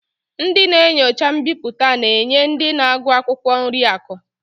Ndị na-enyocha mbipụta na-enye ndị na-agụ akwụkwọ nri akụ